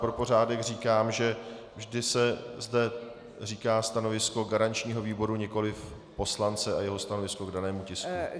Pro pořádek říkám, že vždy se zde říká stanovisko garančního výboru, nikoliv poslance a jeho stanovisko k danému tisku.